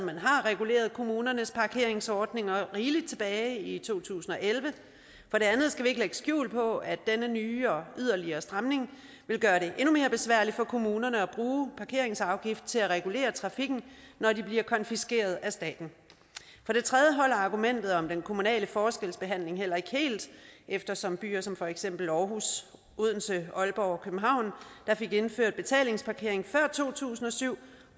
har reguleret kommunernes parkeringsordninger rigeligt tilbage i to tusind og elleve for det andet skal vi ikke lægge skjul på at denne nye og yderligere stramning vil gøre det endnu mere besværligt for kommunerne at bruge parkeringsafgifter til at regulere trafikken når de bliver konfiskeret af staten for det tredje holder argumentet om den kommunale forskelsbehandling heller ikke helt eftersom byer som for eksempel aarhus odense aalborg og københavn der fik indført betalingsparkering før to tusind og syv